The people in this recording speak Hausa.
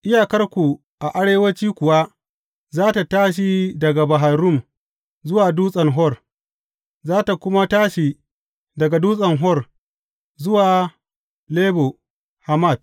Iyakarku a arewanci kuwa za tă tashi daga Bahar Rum zuwa Dutsen Hor, za tă kuma tashi daga Dutsen Hor, zuwa Lebo Hamat.